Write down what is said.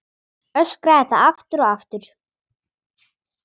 Öskraði það aftur og aftur.